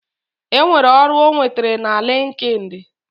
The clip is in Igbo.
Enwere ọrụ ọ nwetere na linkedin